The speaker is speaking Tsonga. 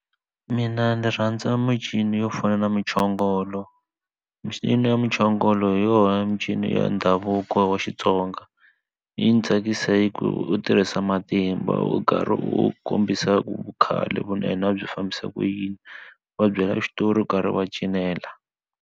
Mina ni rhandza yo fana na muchongolo micino ya muchongolo hi yona mincino ya ndhavuko wa xitsonga yi ni tsakisa hi ku u tirhisa matimba u karhi u kombisa u khale ku na hina byi fambisa ku yini va byela xitori u karhi wa cinela.